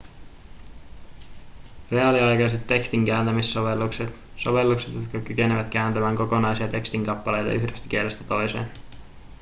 reaaliaikaiset tekstinkääntämissovellukset sovellukset jotka kykenevät kääntämään kokonaisia tekstinkappaleita yhdestä kielestä toiseen